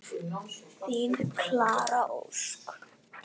Þín Klara Ósk.